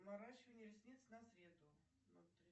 наращивание ресниц на среду